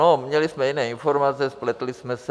No, měli jsme jiné informace, spletli jsme se.